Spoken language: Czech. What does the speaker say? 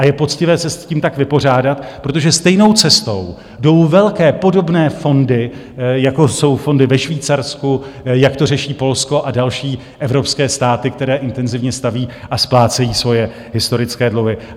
A je poctivé se s tím tak vypořádat, protože stejnou cestou jdou velké podobné fondy, jako jsou fondy ve Švýcarsku, jak to řeší Polsko a další evropské státy, které intenzivně staví a splácejí svoje historické dluhy.